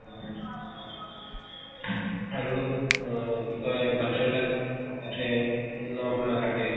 আৰু অহ কি কয় বাচ্ছা বিলাক নখ নাকাটে